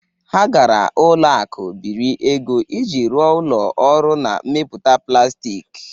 Ha gara ụlọ akụ biri ego iji rụọ ụlọ ọrụ na-emeputa plastik.